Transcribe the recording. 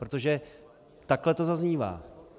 Protože takhle to zaznívá.